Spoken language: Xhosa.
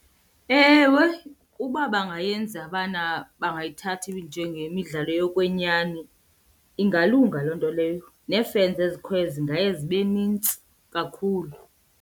Ewe, uba bangayenza bana bangayithatha njengemidlalo yokwenyani ingalunga loo nto leyo, nee-fans ezikhoyo zingaye zibe nintsi kakhulu.